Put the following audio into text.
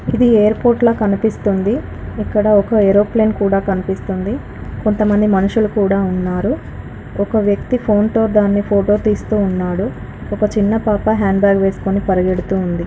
ఇది ఎయిర్పోర్ట్ లా కనిపిస్తుంది ఇక్కడ ఒక ఏరోప్లేన్ కూడా కనిపిస్తుంది కొంతమంది మనుషులు కూడా ఉన్నారు ఒక వ్యక్తి ఫోన్ తో దాన్ని ఫోటో తీస్తూ ఉన్నాడు ఒక చిన్న పాప హ్యాండ్ బ్యాగ్ వేసుకొని పరిగెడుతుంది .